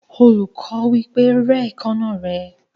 Olùkọ́ wí pé, "Rẹ́ èékánná rẹ."